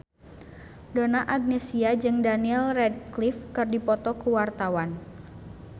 Donna Agnesia jeung Daniel Radcliffe keur dipoto ku wartawan